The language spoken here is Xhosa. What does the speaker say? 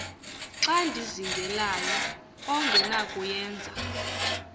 xa ndizingelayo ongenakuyenza